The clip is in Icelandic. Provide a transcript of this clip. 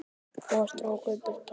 Og strauk burtu tár.